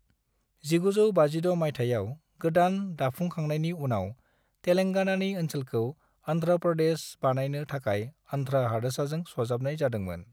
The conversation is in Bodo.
1956 मायथायाव गोदान दाफुंखांनायनि उनाव, तेलेंगानानि ओनसोलखौ अन्ध्र' प्रदेश बानायनो थाखाय अन्ध्र' हादोरसाजों सरजाबनाय जादोंमोन।